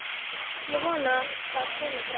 Ég vona það komi bráðum.